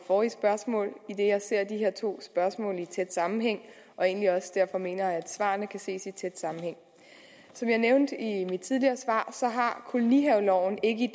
forrige spørgsmål idet jeg ser de her to spørgsmål i tæt sammenhæng og egentlig også derfor mener at svarene kan ses i tæt sammenhæng som jeg nævnte i mit tidligere svar har kolonihaveloven ikke i